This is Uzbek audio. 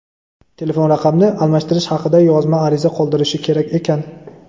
telefon raqamni almashtirish haqida yozma ariza qoldirishi kerak ekan.